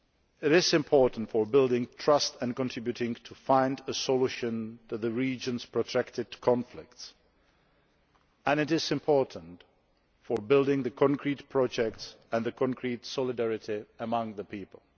It is important for building trust and contributing to finding a solution to the region's protracted conflicts, and it is important for building concrete projects and concrete solidarity among the people.